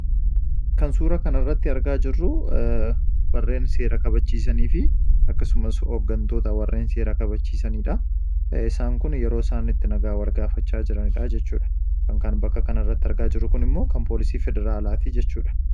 Kan suura kana irratti argaa jirru warreen seera kabachiisanii fi akkasumas hooggantoota warreen seera kabachiisanidha. Akkuma argaa jirrus yeroo isaanitti nagaa wal gaafatanidha. Uffanni isaaniis kan poolisii Federaalaati.